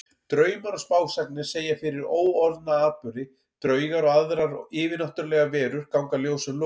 Draumar og spásagnir segja fyrir óorðna atburði, draugar og aðrar yfirnáttúrlegar verur ganga ljósum logum.